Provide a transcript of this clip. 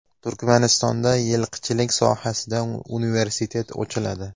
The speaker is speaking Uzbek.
Turkmanistonda yilqichilik sohasida universitet ochiladi.